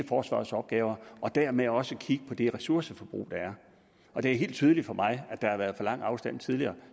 forsvarets opgaver og dermed også kigge på det ressourceforbrug der er og det er helt tydeligt for mig at der har været for lang afstand tidligere